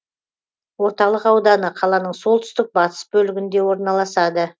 орталық ауданы қаланың солтүстік батыс бөлігінде орналасады